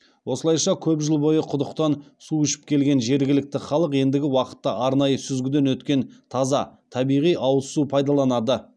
осылайша көп жыл бойы құдықтан су ішіп келген жергілікті халық ендігі уақытта арнайы сүзгіден өтетін таза табиғи ауыз су пайдаланады